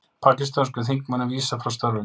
Pakistönskum þingmönnum vísað frá störfum